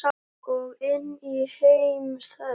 Og inn í heim þess.